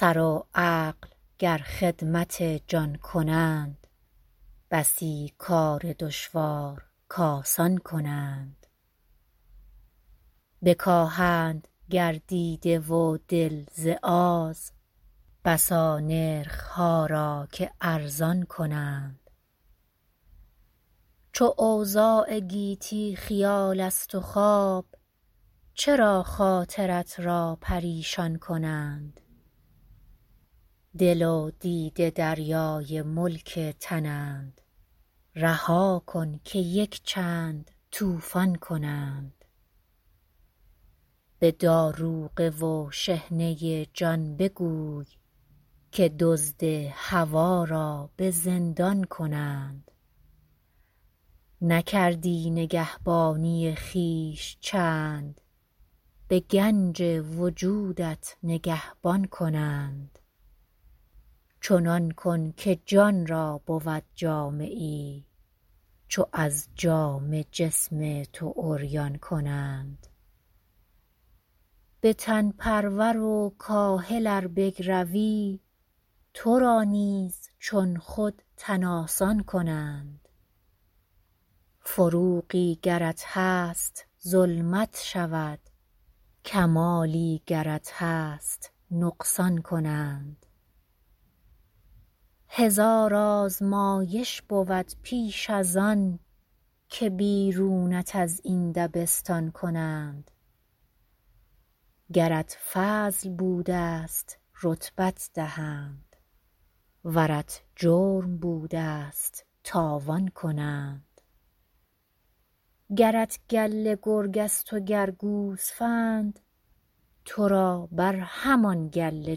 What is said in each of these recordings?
سر و عقل گر خدمت جان کنند بسی کار دشوار ک آسان کنند بکاهند گر دیده و دل ز آز بسا نرخها را که ارزان کنند چو اوضاع گیتی خیال است و خواب چرا خاطرت را پریشان کنند دل و دیده دریای ملک تنند رها کن که یک چند طوفان کنند به داروغه و شحنه جان بگوی که دزد هوی را بزندان کنند نکردی نگهبانی خویش چند به گنج وجودت نگهبان کنند چنان کن که جان را بود جامه ای چو از جامه جسم تو عریان کنند به تن پرور و کاهل ار بگروی ترا نیز چون خود تن آسان کنند فروغی گرت هست ظلمت شود کمالی گرت هست نقصان کنند هزار آزمایش بود پیش از آن که بیرونت از این دبستان کنند گرت فضل بوده است رتبت دهند ورت جرم بوده است تاوان کنند گرت گله گرگ است و گر گوسفند ترا بر همان گله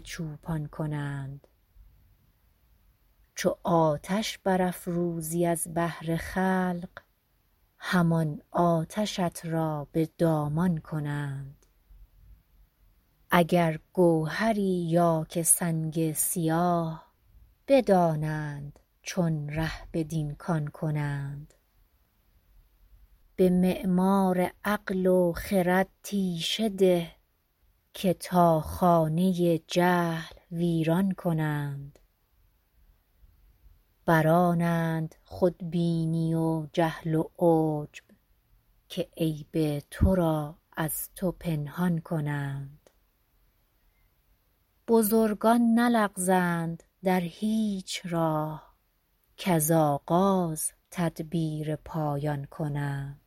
چوپان کنند چو آتش برافروزی از بهر خلق همان آتشت را بدامان کنند اگر گوهری یا که سنگ سیاه بدانند چون ره بدین کان کنند به معمار عقل و خرد تیشه ده که تا خانه جهل ویران کنند برآنند خودبینی و جهل و عجب که عیب تو را از تو پنهان کنند بزرگان نلغزند در هیچ راه کز آغاز تدبیر پایان کنند